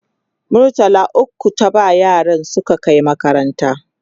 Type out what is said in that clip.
murtala ukwu ta ba yaran su Kai makaranta